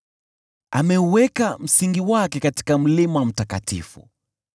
Ameuweka msingi wake katika mlima mtakatifu;